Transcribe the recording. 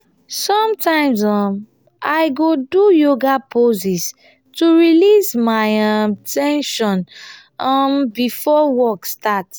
sometimes um i go do yoga poses to release any um ten sion um before work starts.